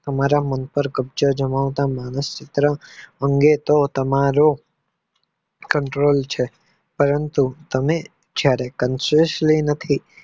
હું મારા મન પાર કબ્જો જમાવટ માણસ ચિત્ર અંગે તો તમારો control છે પરંતુ તમે જયારે Kansansil માંથી